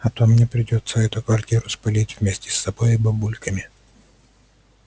а то мне придётся эту квартиру спалить вместе с собой и бабульками